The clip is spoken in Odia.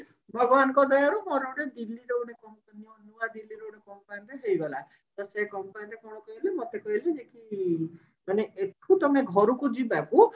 ଭଗବାନ ଙ୍କ ଦୟା ରୁ ମୋର ଗୋଟେ ଦିଲ୍ଲୀ ର ଗୋଟେ company ନୂଆ ଦିଲ୍ଲୀ ର ଗୋଟେ company ରେ ହେଇଗଲା ତ ବିଏସଇ company ରେ କଣ କହିଲୁ ମତେ କହିଲେ ଯେ କି ମାନେ ଏଠୁ ତମେ ଘରକୁ ଯିବାକୁ